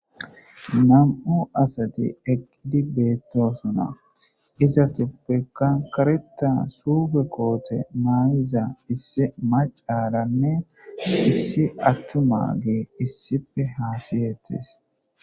Nam7u asati egidi beettosuna izatupekka kareta suufe koote maayiza issi macaaranne issi attuma gee issife haasiyeettes.